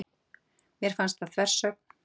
Mér fannst það þversögn.